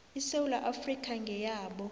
isewula afrika ngeyabo